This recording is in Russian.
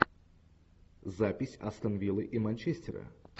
запись астон виллы и манчестера